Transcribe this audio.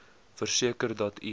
verseker dat u